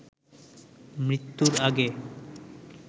মৃত্যুর আগে